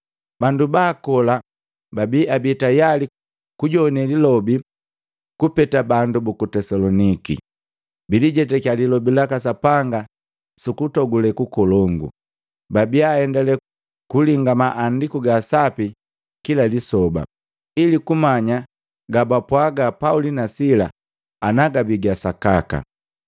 Bandu baakola babi abii tayali kujowane lilobi kupeta bandu buku Tesaloniki. Bilijetaki Lilobi laka Sapanga sukutokule kukolongu, babia aendale kulinga Maandiku ga Sapi kila lisoba, ili kumanya ga bapwaga Pauli na Sila ana gabi ga sakaka.